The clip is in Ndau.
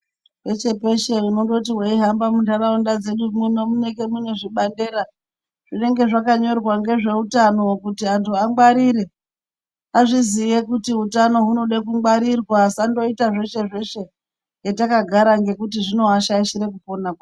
Peshe peshe unondoti wei hamba mu ndaraunda dzedu muno munenge mune zvibandera zvinenge zvaka nyorwa ngezve utano kuti antu angwarire azviziye kuti hutano hunode ku ngwarirwa asa ndoita zveshe zveshe hetaka gara ngekuti zvino ashaishira kupona kwawo.